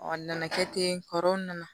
n nana kɛ ten kɔrɔ na